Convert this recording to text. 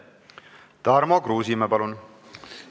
Tarmo Kruusimäe, palun!